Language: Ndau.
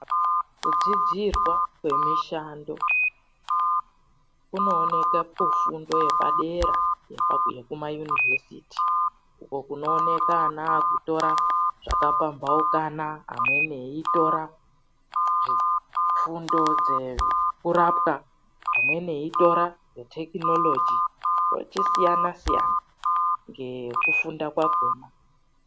Kudzidzirwa kwemishando, kunooneka kufundo yepadera yekumayunivhesiti. Uko kunooneka ana akutora zvakapambaukana, amweni eitora fundo dzekurapwa, amweni eitora dzetekinologi, vachisiyanasiyana ngekufunda kwakona.